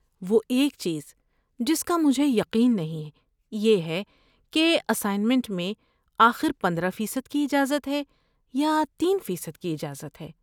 وہ ایک چیز جس کا مجھے یقین نہیں یہ ہے کہ اسائنمنٹ میں آخر پندرہ فیصد کی اجازت ہے یا تین فیصد کی اجازت ہے